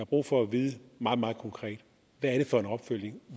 brug for at vide meget meget konkret hvad er det for en opfølgning